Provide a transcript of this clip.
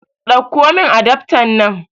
Ɗakko min adaftan nan